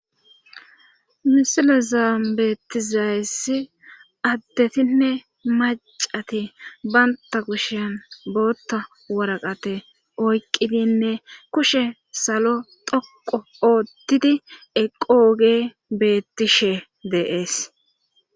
misila zaambetizaayesi addetinne macati baynta kushiyan bootta waraqate oyqqidinne kushe salo thoqo oottidi eqooge beettishe deees